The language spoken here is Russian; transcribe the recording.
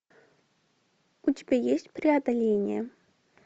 у тебя есть преодоление